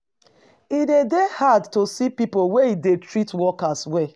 E dey dey hard to see pipo wey e dey treat workers well.